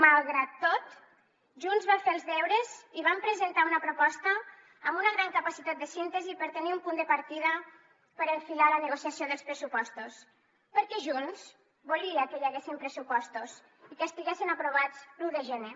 malgrat tot junts va fer els deures i vam presentar una proposta amb una gran capacitat de síntesi per tenir un punt de partida per enfilar la negociació dels pressupostos perquè junts volia que hi haguessin pressupostos i que estiguessin aprovats l’un de gener